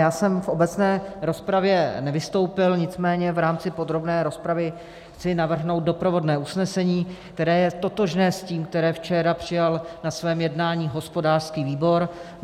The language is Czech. Já jsem v obecné rozpravě nevystoupil, nicméně v rámci podrobné rozpravy chci navrhnout doprovodné usnesení, které je totožné s tím, které včera přijal na svém jednání hospodářský výbor.